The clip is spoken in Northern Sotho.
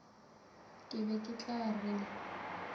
ke be ke tla re